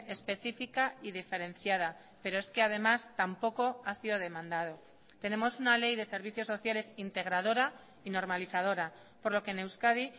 específica y diferenciada pero es que además tampoco ha sido demandado tenemos una ley de servicios sociales integradora y normalizadora por lo que en euskadi